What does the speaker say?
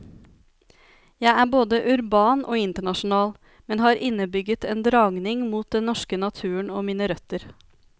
Jeg er både urban og internasjonal, men har innebygget en dragning mot den norske naturen og mine røtter.